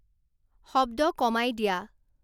শব্দ কমাই দিয়া